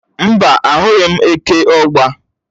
Mbá, ahụghị m eke ọ̀gba.